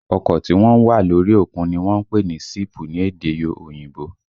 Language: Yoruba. Ọkọ tí wọ́n ń wà lórí òkun ni wọ́n ń pè ní síìpù ní èdè òyìnbó